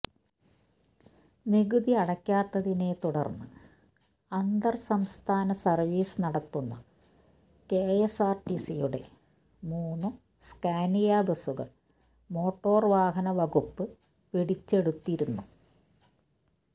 നികുതി അടയ്ക്കാത്തതിനെത്തുടർന്ന് അന്തർസംസ്ഥാന സർവീസ് നടത്തുന്ന കെഎസ്ആർടിസിയുടെ മൂന്നു സ്കാനിയ ബസുകൾ മോട്ടോർ വാഹന വകുപ്പ് പിടിച്ചെടുത്തിരുന്നു